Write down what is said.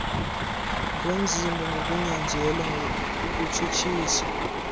ngomzimba ngokunyanzelwa ukutshutshiswa